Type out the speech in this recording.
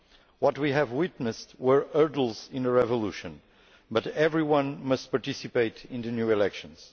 What we have witnessed were hurdles in the revolution, but everyone must participate in the new elections.